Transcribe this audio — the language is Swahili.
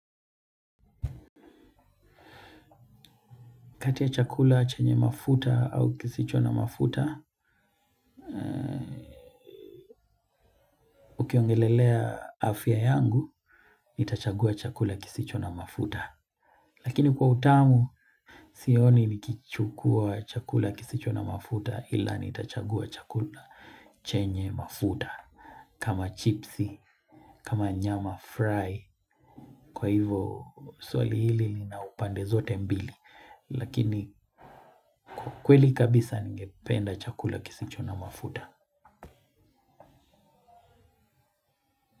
Kati ya chakula chenye mafuta au kisicho na mafuta, ukiongelelea afya yangu, nitachagua chakula kisicho na mafuta. Lakini kwa utamu, sioni nikichukua chakula kisicho na mafuta ila nitachagua chakula chenye mafuta. Kama chipsi, kama nyama fry, kwa hivo swali hili lina upande zote mbili. Lakini kwa kweli kabisa ningependa chakula kisicho na mafuta.